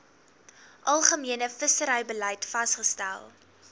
algemene visserybeleid vasgestel